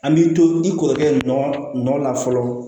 An b'i to i kɔrɔkɛ nɔ la fɔlɔ